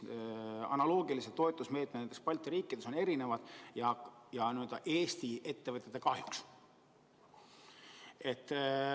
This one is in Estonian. Analoogilised toetusmeetmed Balti riikides on erinevad, ja seda Eesti ettevõtjate kahjuks.